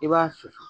I b'a susu